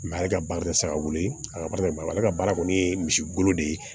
ale ka baara tɛ saga wuli a ka baarakɛ baara la ale ka baara kɔni ye misigolo de ye